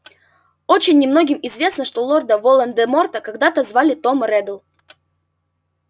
очень немногим известно что лорда волан-де-морта когда-то звали том реддл